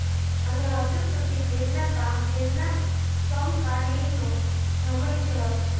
અને હજુ સુધી તેમના કામ તેમના સમકાલિનો જમણી જવાબ છે